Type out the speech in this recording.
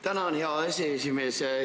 Tänan, hea aseesimees!